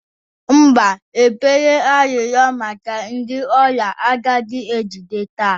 mba, ekpere arịrịọ maka ndị ọrịa agaghị ejide taa